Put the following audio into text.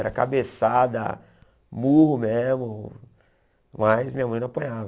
Era cabeçada, murro mesmo, mas minha mãe não apanhava.